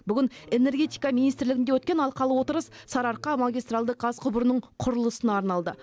бүгін энергетика министрлігінде өткен алқалы отырыс сарыарқа магистральді газ құбырының құрылысына арналды